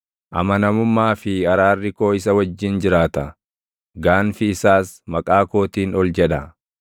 Amanamummaa fi araarri koo isa wajjin jiraata; gaanfi isaas maqaa kootiin ol jedha.